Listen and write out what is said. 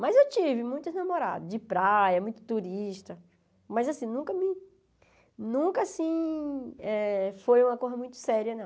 Mas eu tive muitos namorados de praia, muito turista, mas assim, nunca me nunca assim eh foi uma coisa muito séria, não.